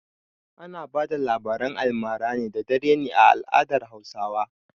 Ana bada labaran almara da dare ne a al'adar Hausawa.